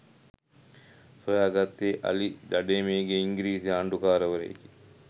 සොයාගත්තේ අලි දඩයමේ ගිය ඉංග්‍රිසි ආණ්ඩුකාරවරයෙකි